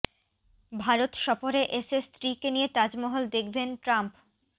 ভারত সফরে এসে স্ত্রী কে নিয়ে তাজমহল দেখবেন ট্রাম্প